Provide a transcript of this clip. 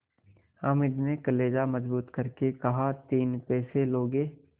हामिद ने कलेजा मजबूत करके कहातीन पैसे लोगे